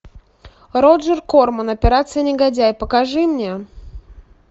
роджер корман операция негодяй покажи мне